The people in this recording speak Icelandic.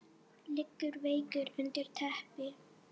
Liggur veikur undir teppi.